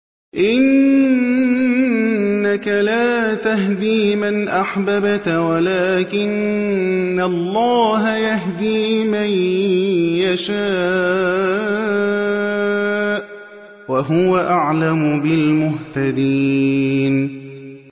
إِنَّكَ لَا تَهْدِي مَنْ أَحْبَبْتَ وَلَٰكِنَّ اللَّهَ يَهْدِي مَن يَشَاءُ ۚ وَهُوَ أَعْلَمُ بِالْمُهْتَدِينَ